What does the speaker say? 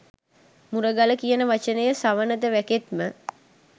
මුරගල යන වචනය සවනත වැකෙත්ම